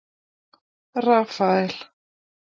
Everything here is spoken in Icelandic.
Rafael